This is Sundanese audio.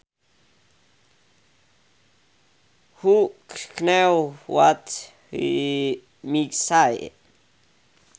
Who knew what he might say